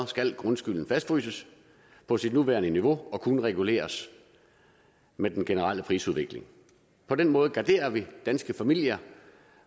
skal grundskylden fastfryses på sit nuværende niveau og kun reguleres med den generelle prisudvikling på den måde garderer vi danske familier